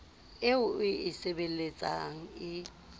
eo o e sebeletsang e